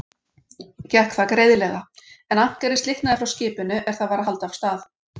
Gekk það greiðlega, en ankerið slitnaði frá skipinu, er það var að halda af stað.